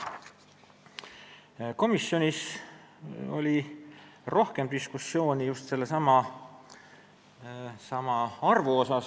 Komisjonis oli rohkem diskussiooni just sellesama arvu üle.